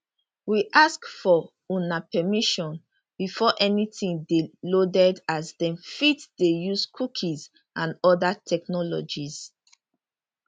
we ask for una permission before anytin dey loaded as dem fit dey use cookies and oda technologies